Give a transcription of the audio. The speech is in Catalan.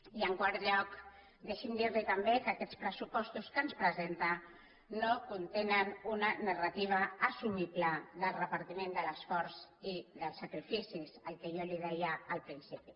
i en quart lloc deixi’m dir li també que aquests pressupostos que ens presenta no contenen una narrativa assumible del repartiment de l’esforç i dels sacrificis que jo li deia al principi